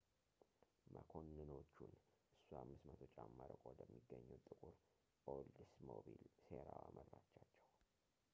መኮንኖቹን እሷ 500 ጫማ ርቆ ወደሚገኘው ጥቁር ኦልድስሞቢል ሴራዋ መራቻቸው